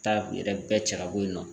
Taa u yɛrɛ bɛɛ cɛ ka bɔ yen nɔ